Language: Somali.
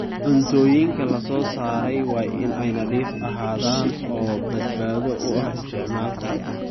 Cuntooyinka la soo saaray waa inay nadiif ahaadaan oo badbaado u ah isticmaalka.